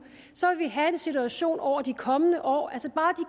vil vi have en situation over de kommende år altså bare